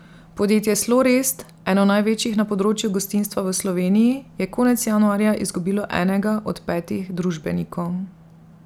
Podjetje Slorest, eno največjih na področju gostinstva v Sloveniji, je konec januarja izgubilo enega od petih družbenikov.